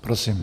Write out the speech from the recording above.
Prosím.